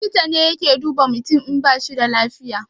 Likita ne yake duba mutum in bashi da lafiya